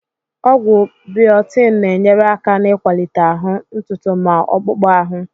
Ọgwụ biotin na-enyere aka n'ịkwalite ahụ, ntutu ma akpụkpọ ahụ